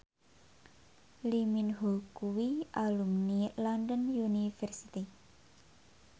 Lee Min Ho kuwi alumni London University